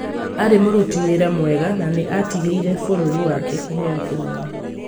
Aarĩ mũruti wĩra mwega na nĩ aatigĩire bũrũri wake kĩheo kĩnene